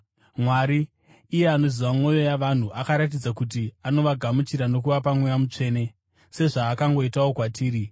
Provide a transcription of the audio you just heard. Mwari, iye anoziva mwoyo yavanhu akaratidza kuti anovagamuchira nokuvapa Mweya Mutsvene, sezvaakangoitawo kwatiri.